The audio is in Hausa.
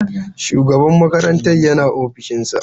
Shugaban makarantar yana ofishinsa?